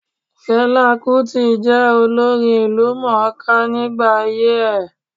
Fẹlá Kútì jẹ́ olórin ìlúmọ̀-ọ́n-ká nígbà ayé ẹ̀.